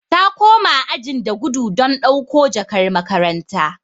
Ta koma ajin da gudu don dauko jakar makaranta.